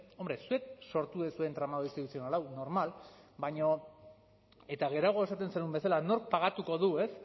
hombre zuek sortu duzue tramadu instituzional hau normal eta geroago esaten zenuen bezala nork pagatuko du ez